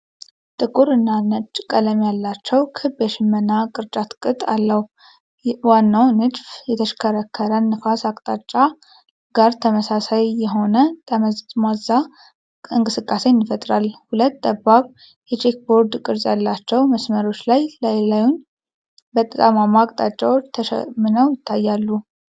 ጥቁር እና ነጭ ቀለም ያላቸው ክብ የሽመና ቅርጫት ቅጥ አለው። ዋናው ንድፍ ከተሽከረከረ ነፋስ አቅጣጫ ጋር ተመሳሳይ የሆነ ጠመዝማዛ እንቅስቃሴን ይፈጥራል። ሁለት ጠባብ፣ የቼከርቦርድ ቅርጽ ያላቸው መስመሮች ላይ ላዩን በጠማማ አቅጣጫ ተሸምነው ይታያሉ።